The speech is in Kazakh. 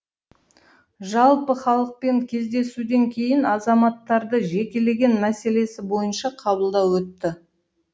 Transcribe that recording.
жалпы халықпен кездесуден кейін азаматтарды жекелеген мәселесі бойынша қабылдау өтті